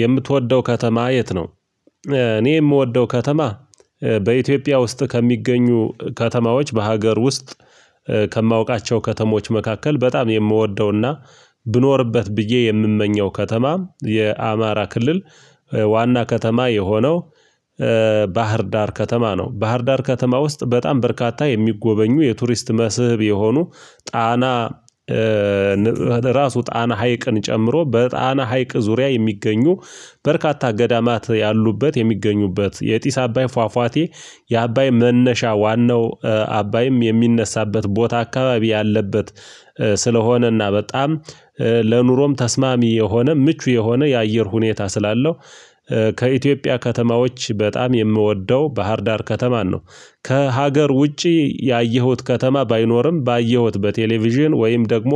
የምትወደው ከተማ የት ነው? እኔ የምወደው ከተማ በኢትዮጵያ ውስጥ ከሚገኙ ከተማዎች በሀገር ውስጥ ከማውቃቸው ከተሞች መካከል በጣም የምወደውና ብኖርበት ብዬ የምመኘው ከተማ የአማራ ክልል ዋና ከተማ የሆነው ባህርዳር ከተማ ነው። ባህርዳር ከተማ ውስጥ በጣም በርካታ የሚጎበኙ የቱሪስት መስህብ የሆኑ ጣና ራሱ ጣና ሀይቅን ጨምሮ በጣና ሀይቅ ዙሪያ የሚገኙ በርካታ ገዳማት ያሉበት የሚገኙበት የጢስ አባይ ፏፏቴ የአባይ መነሻ ዋናው አባይም የሚነሳበት ቦታ አካባቢ ያለበት ስለሆነና በጣም ለኑሮም ተስማሚ የሆነ ምቹ የሆነ የአየር ሁኔታ ስላለው ከኢትዮጵያ ከተማዎች በጣም የምወደው ባህርዳር ከተማን ነው። ከሀገር ውጪ ያየሁት ከተማ ባይኖርም ባየሁት በቴሌቪዥን ወይም ደግሞ